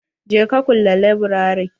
Je ka kulle laburare.